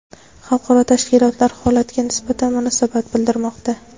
xalqaro tashkilotlar holatga nisbatan munosabat bildirmoqda.